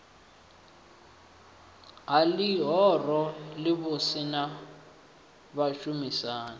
ha ḽihoro ḽivhusi na vhashumisani